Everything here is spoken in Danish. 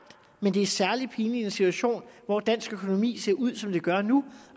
men det er særlig pinligt i en situation hvor dansk økonomi ser ud som den gør nu